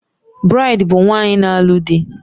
Braid bụ nwaanyị na-alụ di